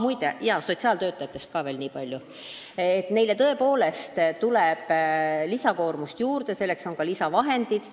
Muide, sotsiaaltöötajatest veel nii palju, et neile tuleb tõepoolest lisakoormust juurde ja selleks on ka lisavahendeid.